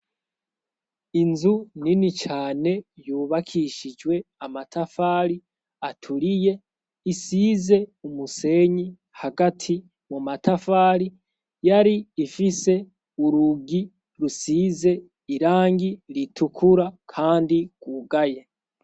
Inzu nini cane yubakishijwe amatafari aturiye isize umusenyi hagati mu matafari yari ifise urugi rusize irangi ritukura kandi gwugaye.